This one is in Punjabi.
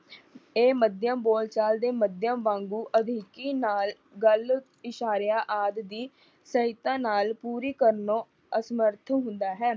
ਇਹ ਮਧਿਅਮ ਬੋਲ ਚਾਲ ਦੇ ਮਧਿਅਮ ਵਾਂਗੂ ਅਧਿਕੀ ਨਾਲ ਗੱਲ ਇਸ਼ਾਰਿਆਂ ਆਦਿ ਦੀ ਸਹਾਇਤਾ ਨਾਲ ਪੂਰੀ ਕਰਨੋੋ ਅਸਮੱਰਥ ਹੁੰਦਾ ਹੈ।